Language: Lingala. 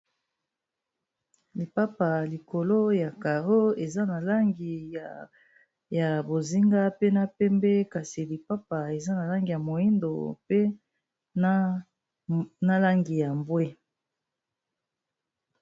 lipapa likolo ya carro eza na langi ya bozinga pe na pembe kasi lipapa eza na langi ya moindo pe na langi ya mbwe